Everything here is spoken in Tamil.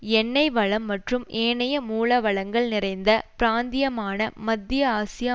எண்ணெய் வளம் மற்றும் ஏனைய மூல வளங்கள் நிறைந்த பிராந்தியமான மத்திய ஆசியா